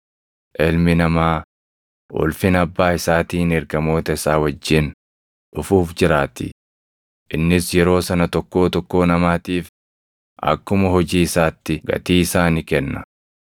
Ilmi Namaa ulfina Abbaa isaatiin ergamoota isaa wajjin dhufuuf jiraatii; innis yeroo sana tokkoo tokkoo namaatiif akkuma hojii isaatti gatii isaa ni kenna.